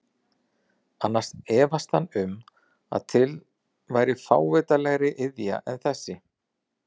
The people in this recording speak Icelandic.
Annars efaðist hann um að til væri fávitalegri iðja en þessi.